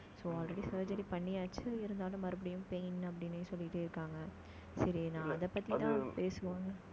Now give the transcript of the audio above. so already surgery பண்ணியாச்சு இருந்தாலும், மறுபடியும் pain அப்படின்னே சொல்லிட்டு இருக்காங்க சரி, நான் அதைப் பத்திதான் பேசுவோம்ன்னு.